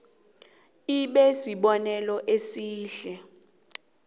ibe sibonelo esihle